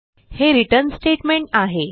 हे return statement आहे